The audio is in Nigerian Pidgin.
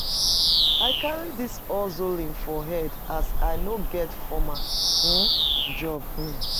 I carry dis hustling for head as I no get formal um job. um